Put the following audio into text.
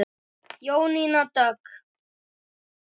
Jónína Dögg.